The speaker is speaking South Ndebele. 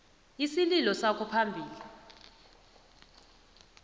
isililo sakho phambili